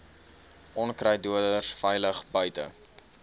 onkruiddoders veilig buite